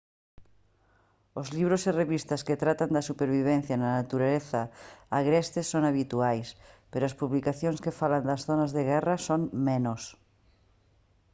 os libros e revistas que tratan da supervivencia na natureza agreste son habituais pero as publicacións que falan das zonas de guerra son menos